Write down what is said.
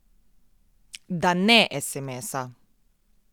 Da ne esemesa.